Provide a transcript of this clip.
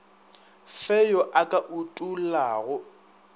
fe yo a ka utollago